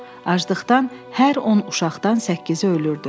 Aclıqdan hər on uşaqdan səkkizi ölürdü.